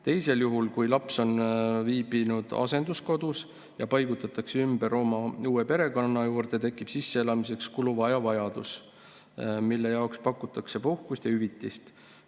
Teisel juhul, kui laps on viibinud asenduskodus ja ta paigutatakse ümber oma uue perekonna juurde, tekib sisseelamiseks kuluva aja vajadus, mille jaoks pakutakse puhkust ja hüvitist.